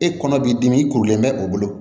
E kɔnɔ b'i dimi i kurulen bɛ o bolo